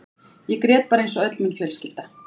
Ég grét bara eins og öll mín fjölskylda.